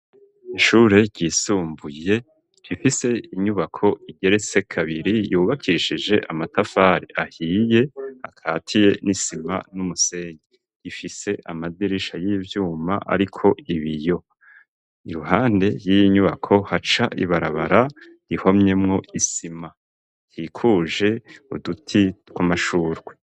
Ishure ryisumbuye rifise inyubako igeretse kabiri yubakishije amatafari ahiye akatiye n'isima n'umusenyi. Ifise amadirisha y'ivyuma ariko ibiyo. Iruhande y'inyubako, haca ibarabara rihomyemwo isima ikikuje uduti tw'amashurwe.